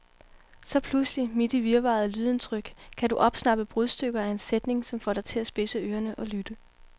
Så pludselig, midt i virvaret af lydindtryk, kan du opsnappe brudstykker af en sætning, som får dig til at spidse ørerne og lytte.